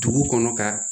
Dugu kɔnɔ ka